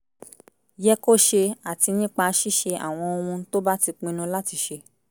yẹ kó ṣe àti nípa ṣíṣe àwọn ohun tó bá ti pinnu láti ṣe